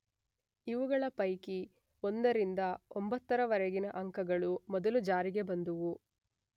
ಇವುಗಳ ಪೈಕಿ ಒಂದರಿಂದ ಒಂಬತ್ತರವರೆಗಿನ ಅಂಕಗಳು ಮೊದಲು ಜಾರಿಗೆ ಬಂದುವು.